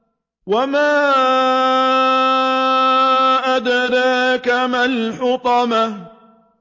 وَمَا أَدْرَاكَ مَا الْحُطَمَةُ